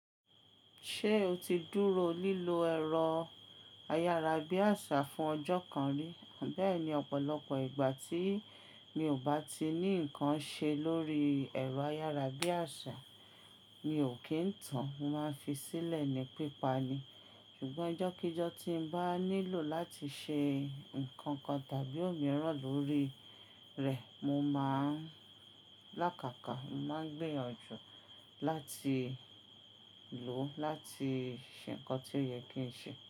Ṣé o ti dúró lílo ẹ̀rọ ayára bí àṣà fún ọjọ́ kan rí? Bẹ́ẹ̀ni, ọ̀pọ̀lọpọ̀ ìgbà tí mi ò bá ti ní ǹkan ṣe lórí ẹ̀rọ ayára bí àṣà, mi ò kí ń tàn, mo máa ń fi sílẹ̀ ní pípa ni. Ṣùgbọ́n íjọ́kíjọ́ tí n bá nílò láti ṣe ǹkankan tàbí òmíràn lórí rẹ̀, mo máa ń lákàkà, mo máa ń gbìyànjú láti lò ó láti ṣe ǹkan tí ó yẹ kí n ṣe.